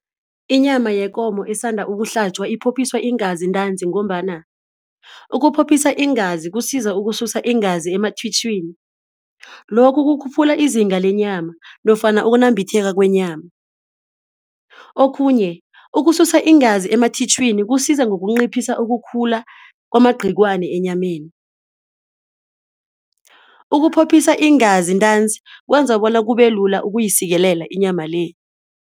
Inyama yekomo esanda ukuhlatjwa iphophiswa iingazi ntanzi ngombana ukuphophiswa iingazi kusiza ukususa iingazi emathitjhwini. Lokhu kukhuphula izinga lenyama nofana ukunambitheka kwenyama. Okhunye ukususa iingazi emathitjhwini kusiza ngokunciphisa ukukhula kwamagciwane enyameni. Ukuphophiswa iingazi ntanzi kwenza bona kubelula ukuyisikelela inyama le.